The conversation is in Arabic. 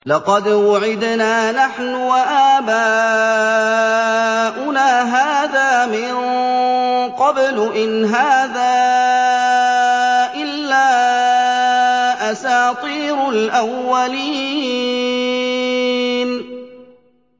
لَقَدْ وُعِدْنَا نَحْنُ وَآبَاؤُنَا هَٰذَا مِن قَبْلُ إِنْ هَٰذَا إِلَّا أَسَاطِيرُ الْأَوَّلِينَ